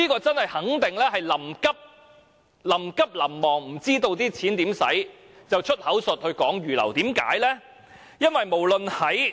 這肯定是臨急臨忙，不知要如何花費這些金錢，而"出口術"將之預留作上述用途，何解？